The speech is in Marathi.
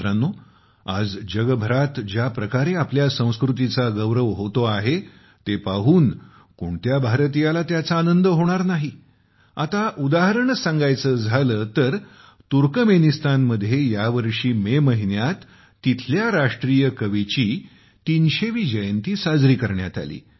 मित्रांनो आज जगभरात ज्या प्रकारे आपल्या संस्कृतीचा गौरव होतो आहे ते पाहून कोणत्या भारतीयाला त्याचा आनंद होणार नाही आता उदाहरणच सांगायचे तर तुर्कमेनिस्तानमध्ये या वर्षी मे महिन्यात तेथील राष्ट्रीय कवीची 300 वी जयंती साजरी करण्यात आली